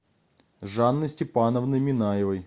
жанной степановной минаевой